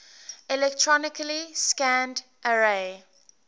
electronically scanned array